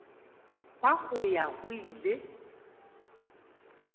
ba go ya go ile